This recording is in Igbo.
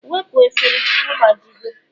wepụ efere, ọgbajiwo!